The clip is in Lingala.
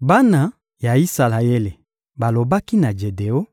Bana ya Isalaele balobaki na Jedeon: